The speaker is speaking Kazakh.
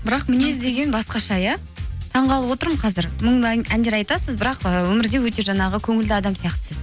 бірақ мінез деген басқаша иә таңғалып отырмын қазір мұңды әндер айтасыз бірақ ыыы өмірде өте жаңағы көңілді адам сияқтысыз